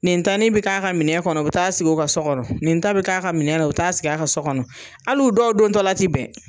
Nin tani bɛ k'a ka minɛ kɔnɔ u bɛ taa sigi u ka so kɔnɔ, nin ta bɛ k'a ka minɛ la u bɛ taa sigi a ka so kɔnɔ hali u dɔw dontɔla ti bɛn.